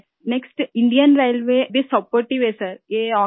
اس کے بعد ، بھارتی ریلوے بھی مدد کرنی ہے ، سر